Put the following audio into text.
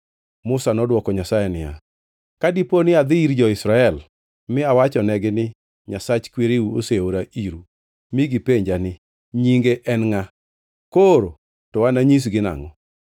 Musa nodwoko Nyasaye niya, “Ka dipo ni adhi ir jo-Israel mi awachonegi ni, ‘Nyasach kwereu oseora iru,’ mi gipenja ni, ‘Nyinge en ngʼa?’ Koro to ananyisgi nangʼo?”